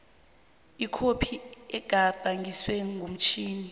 ikhophi egadangiswe ngomtjhini